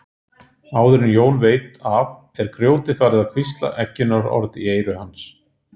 Áður en Jón veit af er grjótið farið að hvísla eggjunarorð í eyru hans.